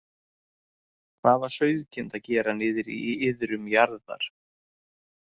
Hvað var sauðkind að gera niðri í iðrum jarðar?